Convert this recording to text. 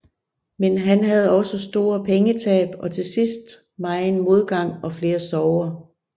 Men han havde også store pengetab og til sidst megen modgang og flere sorger